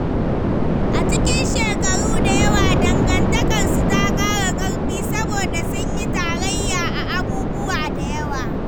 A cikin shekaru da yawa, dangantakarsu ta ƙara ƙarfi saboda sun yi tarayya a abubuwa da yawa.